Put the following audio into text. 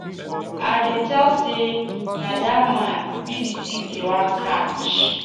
I dey tell say na dat man be the thief dey wan catch.